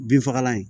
Binfagalan in